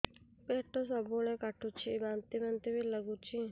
ପେଟ ସବୁବେଳେ କାଟୁଚି ବାନ୍ତି ବାନ୍ତି ବି ଲାଗୁଛି